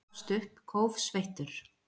Hann gafst upp, kófsveittur.